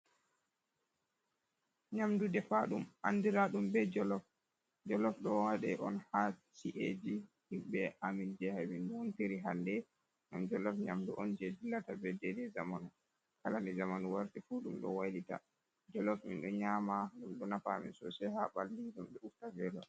Nyamdu defa ɗum andira ɗum be jolof, ɗo waɗe on ha chi’eji himɓɓe amin je ha min wontiri hande, ngam jolof nyamdu on je dillata be dei dei zamanu, kala nde zamanu warti fu ɗum ɗo waylita, jolof min ɗo nyama ɗum ɗo nafa amin sosai ha ɓalli ɗum ɓe usta velo.